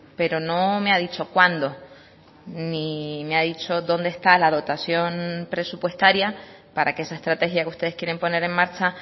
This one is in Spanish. pero no me ha dicho cuándo ni me ha dicho dónde está la dotación presupuestaria para que esa estrategia que ustedes quieren poner en marcha